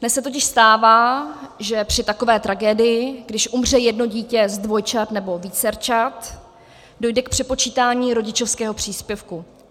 Dnes se totiž stává, že při takové tragédii, když umře jedno dítě z dvojčat nebo vícerčat, dojde k přepočítání rodičovského příspěvku.